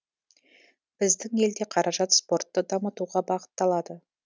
біздің елде қаражат спортты дамытуға бағыталады